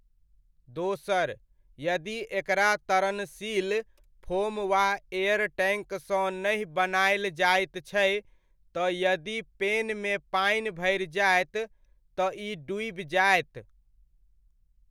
दोसर, यदि एकरा तरणशील फोम वा एयर टैङ्क सँ नहि बनायल जायत छै, तऽ यदि पेन मे पानि भरि जायत, तऽ इ डूबि जायत।